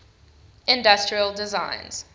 industrial designs